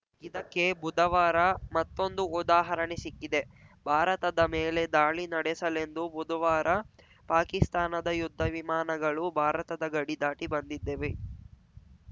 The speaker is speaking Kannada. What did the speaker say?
ಇದಕ್ಕೆ ಬುಧವಾರ ಮತ್ತೊಂದು ಉದಾಹರಣೆ ಸಿಕ್ಕಿದೆ ಭಾರತದ ಮೇಲೆ ದಾಳಿ ನಡೆಸಲೆಂದು ಬುಧವಾರ ಪಾಕಿಸ್ತಾನದ ಯುದ್ಧ ವಿಮಾನಗಳು ಭಾರತದ ಗಡಿ ದಾಟಿ ಬಂದಿದ್ದೆವೆ